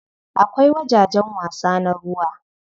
Akwai wajajen wasa na ruwa.